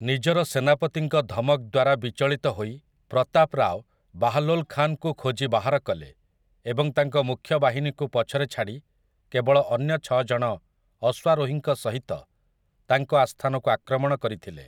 ନିଜର ସେନାପତିଙ୍କ ଧମକ ଦ୍ୱାରା ବିଚଳିତ ହୋଇ ପ୍ରତାପ ରାଓ ବାହ୍‌ଲୋଲ୍ ଖାନ୍‌ଙ୍କୁ ଖୋଜି ବାହାର କଲେ ଏବଂ ତାଙ୍କ ମୁଖ୍ୟ ବାହିନୀକୁ ପଛରେ ଛାଡ଼ି କେବଳ ଅନ୍ୟ ଛଅ ଜଣ ଅଶ୍ୱାରୋହୀଙ୍କ ସହିତ ତାଙ୍କ ଆସ୍ଥାନକୁ ଆକ୍ରମଣ କରିଥିଲେ ।